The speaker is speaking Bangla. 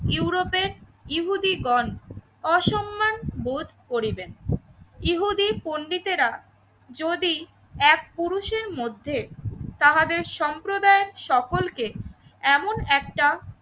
ইউরোপের ইহুদি গণ অসম্মান, বোধ করিবেন। ইহুদী পণ্ডিতেরা যদি এক পুরুষের মধ্যে তাহাদের সম্প্রদায়ের সকলকে এমন একটা